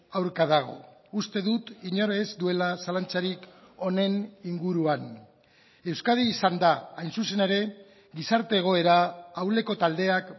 aurka dago uste dut inor ez duela zalantzarik honen inguruan euskadi izan da hain zuzen ere gizarte egoera ahuleko taldeak